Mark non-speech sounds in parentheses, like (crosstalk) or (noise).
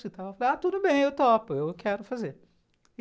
(unintelligible) ah, tudo bem, eu topo, eu quero fazer.